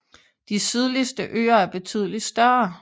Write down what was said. De sydligste øer er betydelig større